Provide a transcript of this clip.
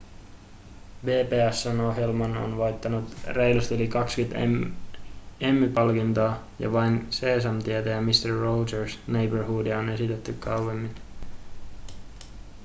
pbs:n ohjelma on voittanut reilusti yli 20 emmy-palkintoa ja vain seesamtietä ja mister rogers' neighborhoodia on esitetty kauemmin